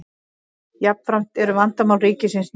jafnframt eru vandamál ríkisins mikil